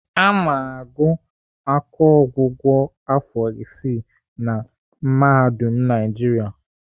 Ana agụ akọọgwụgwọ afọ isii na Mahadum Naijiria.